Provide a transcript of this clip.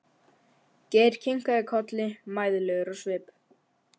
Geir kinkaði kolli mæðulegur á svip.